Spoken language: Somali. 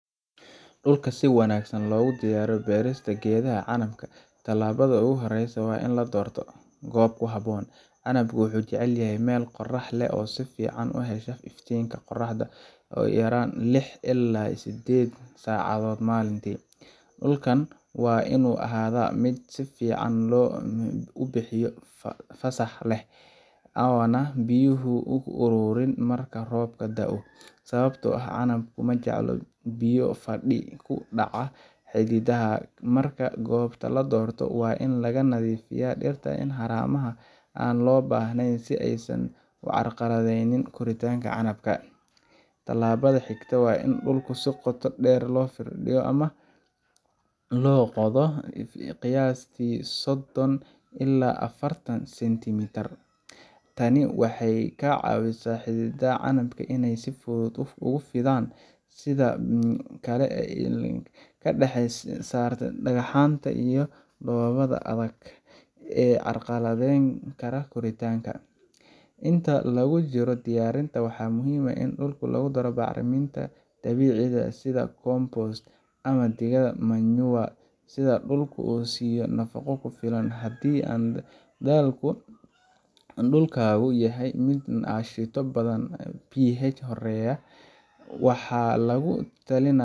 Dhulka si wanaagsan loogu diyaariyo beerista gedaha canabka, tallaabada ugu horreysa waa in la doorto goob ku habboon. Canabku wuxuu jecel yahay meel qorrax leh oo si fiican u hesha iftiinka qoraxda ugu yaraan lix ilaa sideed saacadood maalintii. Dhulka waa inuu ahaadaa mid si fiican u biyo-fasax leh, oo aanay biyuhu ku ururin marka roobka da’o, sababtoo ah canabku ma jecla biyo fadhi ku dhaca xididdada. Marka goobta la doorto, waa in laga nadiifiyaa dhirta iyo haramaha aan loo baahnayn si aysan u carqaladaynin koritaanka canabka. Tallaabada xigta waa in dhulka si qoto dheer loo firdhiyo ama loo qodo qiyaastii soddon ilaa afaratan sentimitir. Tani waxay ka caawineysaa xididdada canabka inay si fudud ugu fidaan dhulka, sidoo kale waxay ka saartaa dhagxaanta iyo dhoobaha adag ee carqaladeyn kara koritaanka. Inta lagu guda jiro diyaarinta, waxaa muhiim ah in dhulka lagu daro bacriminta dabiiciga ah sida ciid bacrin leh (compost) ama digada (manure) si dhulka loo siiyo nafaqo ku filan. Haddii dhulkaagu yahay mid aashito badan pH hooseeya, waxaa lagu talinayaa